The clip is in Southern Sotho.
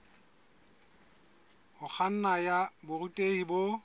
ho kganna ya borutehi bo